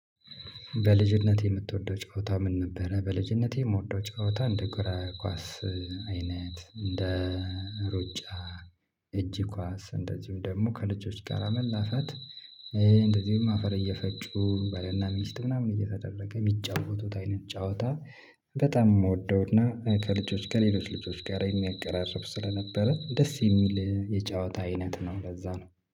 በልጅነት የምትወደው ጨዋታ ምን ነበረ? በልጅነቴ የምወደው ጨዋታ እንደ እግር ኳስ አይነት፣ እንደ ሩጫ፣ እጅ ኳስ፣ እንደዚሁም ደግሞ ከልጆች ጋር መላፋት፣ እንደዚሁም አፈር እየፈጩ ባለና ሚስት ምናምን እየተደረገ የሚጫወቱት አይነት ጫወታ በጣም የምወደውና ከልጆች ከሌሎች ልጆች ጋር የሚያቀራርብ ስለነበረ ደስ የሚል የጨዋታ አይነት ነው ለዛ ነው።